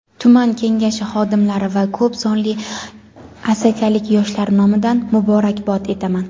tuman Kengashi xodimlari va ko‘p sonli Asakalik yoshlar nomidan muborakbod etaman.